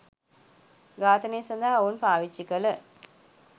ඝාතනය සඳහා ඔවුන් පාවිච්චි කළ